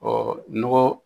nɔgɔ